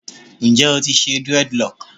Njẹ o ti ṣe dreadlocks?